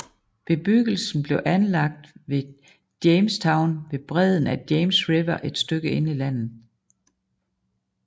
Bebyggelsen blev anlagt ved Jamestown ved bredden af James River et stykke inde i landet